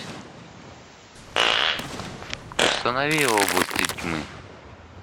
установи области тьмы